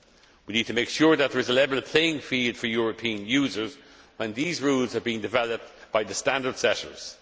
We need to make sure that there is a level playing field for European users and these rules are being developed by the standard setters.